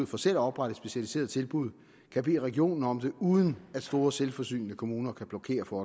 for selv at oprette et specialiseret tilbud kan bede regionen om det uden at store selvforsynende kommuner kan blokere for